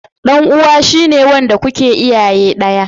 Dan uwa shi ne wanda kuke iyaye daya.